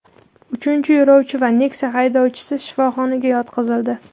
Uchinchi yo‘lovchi va Nexia haydovchisi shifoxonaga yotqizildi.